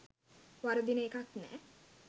වරදින එකක් නෑ.